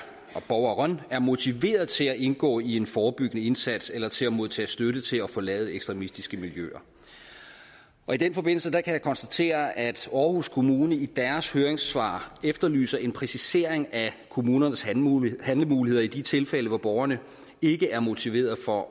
borgeren er motiveret til at indgå i en forebyggende indsats eller til at modtage støtte til at forlade ekstremistiske miljøer i den forbindelse kan jeg konstatere at aarhus kommune i deres høringssvar efterlyser en præcisering af kommunernes handlemuligheder handlemuligheder i de tilfælde hvor borgeren ikke er motiveret for